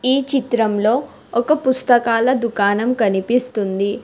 ఈ చిత్రంలో ఒక పుస్తకాల దుకాణం కనిపిస్తుంది.